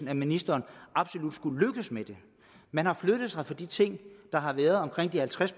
at ministeren absolut skulle lykkes med det man har flyttet sig for de ting der har været omkring de halvtreds